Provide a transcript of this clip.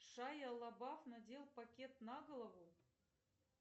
шайа лабаф надел пакет на голову